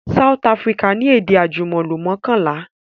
South Africa ni èdè àjùmọ̀lò mọ́kànlá